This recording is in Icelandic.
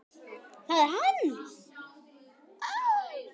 ÞAÐ ER HANN!